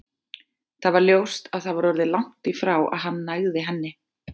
Það var ljóst að það var orðið langt í frá að hann nægði henni.